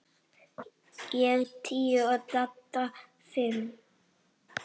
Ég tíu og Dadda fimm.